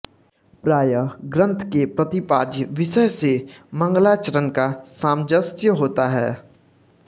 प्रायः ग्रन्थ के प्रतिपाद्य विषय से मंगलाचरण का सामंजस्य होता है